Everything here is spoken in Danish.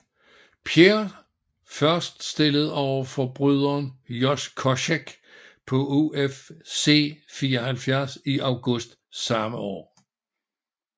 Pierre først stillet overfor bryderen Josh Koscheck på UFC 74 i august samme år